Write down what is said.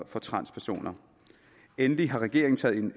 for transpersoner endelig har regeringen taget en